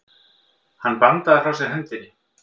Hann bandaði frá sér hendinni.